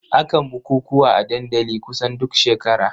Akan bukukuwa a dandali kusan duk shekara.